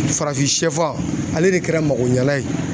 Farafinsɛfan ale de kɛra magoɲalan ye.